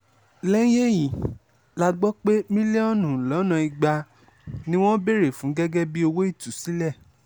lẹ́yìn èyí la gbọ́ pé mílíọ̀nù lọ́nà ìgbà ni wọ́n béèrè fún gẹ́gẹ́ bíi owó ìtúsílẹ̀